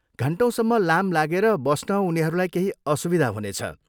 घन्टौँसम्म लाम लागेर बस्न उनीहरूलाई केही असुविधा हुनेछ।